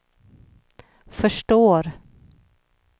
förstår